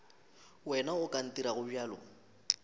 wena o ka ntirago bjalo